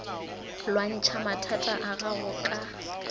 lwantšha mathata a gago ka